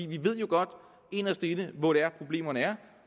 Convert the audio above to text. vi ved jo godt inderst inde hvor det er problemerne er